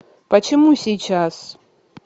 почему сейчас